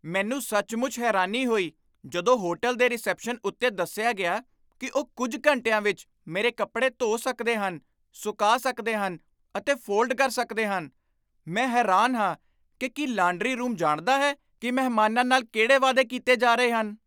ਮੈਨੂੰ ਸੱਚਮੁੱਚ ਹੈਰਾਨੀ ਹੋਈ ਜਦੋਂ ਹੋਟਲ ਦੇ ਰਿਸੈਪਸ਼ਨ ਉੱਤੇ ਦੱਸਿਆ ਗਿਆ ਕਿ ਉਹ ਕੁੱਝ ਘੰਟਿਆਂ ਵਿੱਚ ਮੇਰੇ ਕੱਪੜੇ ਧੋ ਸਕਦੇ ਹਨ, ਸੁਕਾ ਸਕਦੇ ਹਨ ਅਤੇ ਫੋਲਡ ਕਰ ਸਕਦੇ ਹਨ। ਮੈਂ ਹੈਰਾਨ ਹਾਂ ਕਿ ਕੀ ਲਾਂਡਰੀ ਰੂਮ ਜਾਣਦਾ ਹੈ ਕਿ ਮਹਿਮਾਨਾਂ ਨਾਲ ਕਿਹੜੇ ਵਾਅਦੇ ਕੀਤੇ ਜਾ ਰਹੇ ਹਨ।